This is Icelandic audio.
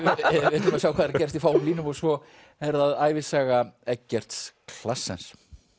við ætlum að sjá hvað er að gerast í fáum línum og svo er það ævisaga Eggerts